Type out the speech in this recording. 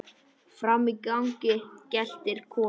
Frammi í gangi geltir Kolur.